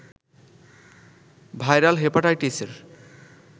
viral হেপাটাইটিসের